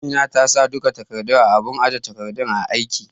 Amina ta sa duka takardun a abun aje takardun aiki